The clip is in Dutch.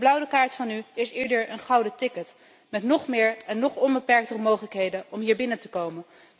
Die blauwe kaart van u is eerder een gouden ticket, met nog meer en nog onbeperktere mogelijkheden om hier binnen te komen.